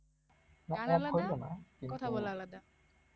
কথা বলা আলাদা